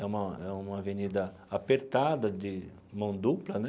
É uma é uma avenida apertada, de mão dupla, né?